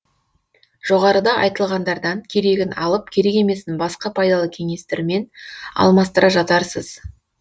жоғарыда айтылғандардан керегін алып керек емесін басқа пайдалы кеңестермен алмастыра жатарсыз